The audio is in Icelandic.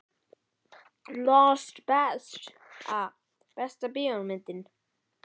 Lost Besta bíómyndin?